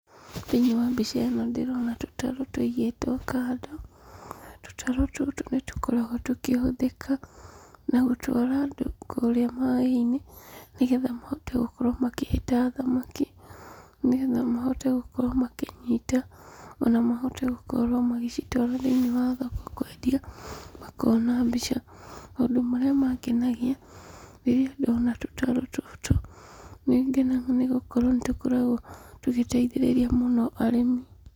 Thĩiniĩ wa mbica ĩno ndĩrona tũtarũ tũigĩtwo kando. Tũtarũ tũtũ nĩtũkoragwo tũkĩhũthĩka na gũtwara andũ kũrĩa maĩ-inĩ, nĩgetha mahote gũkorwo makĩhĩta thamaki, nĩgetha mahote gũkorwo makĩnyita, ona mahote gũkorwo magĩcitwara thĩiniĩ wa thoko kwendia, makona mbeca. Maũndũ marĩa mangenagia rĩrĩa ndona tũtarũ tũtũ, nĩngenaga nĩgũkorwo nĩ tũkoragwo tũgĩteithĩrĩria mũno arĩmi.